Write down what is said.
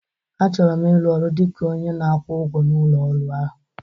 Achọrọ m ịrụ ọrụ dị ka onye na-akwụ ụgwọ na ụlọ ọrụ ahụ